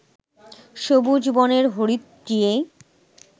সবুজ বনের হরিৎ টিয়ে